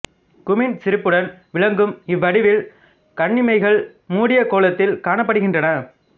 குமின்சிரிப்புடன் விளங்கும் இவ் வடிவில் கண்ணிமைகள் மூடிய கோலத்தில் காணப்படுகின்றன